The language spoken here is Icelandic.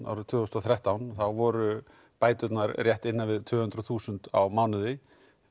árið tvö þúsund og þrettán voru bæturnar rétt innan við tvö hundruð þúsund á mánuði